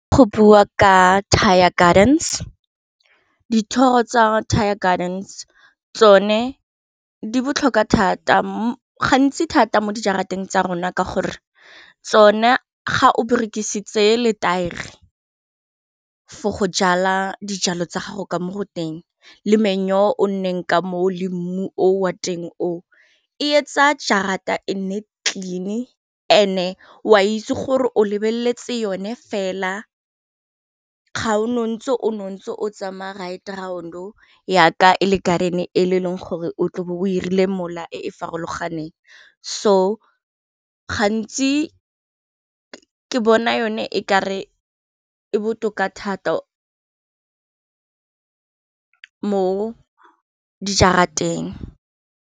Go bua ka thaya gardens dithoro tsa thaya gardens tsone di botlhokwa thata gantsi thata mo di jarateng tsa rona ka gore tsone ga o berekisitse le taere for go jala dijalo tsa gago ka mo go teng le meyora o nonneng ka mo o le mmu o wa teng o e etsa jarateng e nne clean and e o a itse gore o lebeletse yone fela ga o no ntse o ntse tsamaya ride round o yaka ele garden ene e le e leng gore o tle o bo o irile mola e e farologaneng so gantsi ko ke bona yone e kare e botoka thata mo di jarateng.